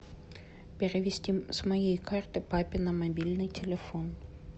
перевести с моей карты папе на мобильный телефон